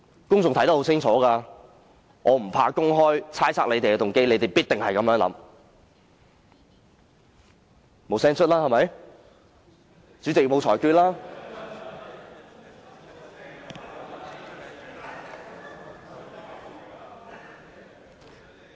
公眾看得很清楚，我不怕公開猜測他們的動機，因為他們必定是這樣想。